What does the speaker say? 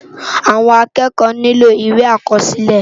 Awòn ákèékò niló iwé ákòsilè